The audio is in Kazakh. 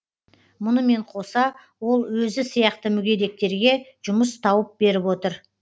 мұнымен қоса ол өзі сияқты мүгедектерге жұмыс тауып беріп отыр